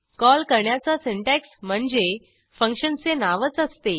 call करण्याचा syntax म्हणजे फंक्शनचे नावच असते